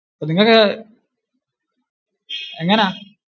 അപ്പൊ നിങ്ങൾക്ക് എങ്ങനാ?